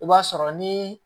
I b'a sɔrɔ ni